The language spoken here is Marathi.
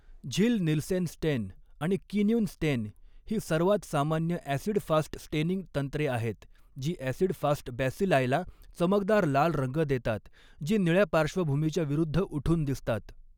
झिल नीलसेन स्टेन आणि किन्युन स्टेन ही सर्वात सामान्य ॲसिड फास्ट स्टेनिंग तंत्रे आहेत, जी ॲसिड फास्ट बॅसिलायला चमकदार लाल रंग देतात जे निळ्या पार्श्वभूमीच्या विरूद्ध उठून दिसतात.